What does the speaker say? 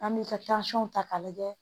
An b'i ka ta k'a lajɛ